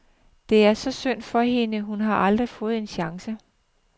Det er så synd for hende, hun har aldrig fået en chance.